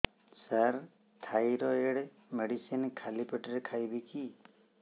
ସାର thyroid medicine ଖାଲି ପେଟରେ ଖାଇବି କି